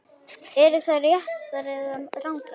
Eru þær réttar eða rangar?